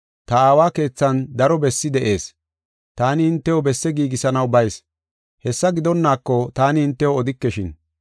Ta Aawa keethan daro bessi de7ees. Taani hintew besse giigisanaw bayis. Hessa gidonnaako taani hintew odikeshin.